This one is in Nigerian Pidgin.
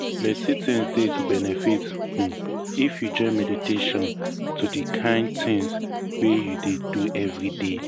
plenty things dey to benefit um if you join meditation to di kain things wey you dey do everyday.